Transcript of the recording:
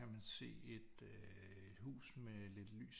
Kan man se et øh et hus med lidt lys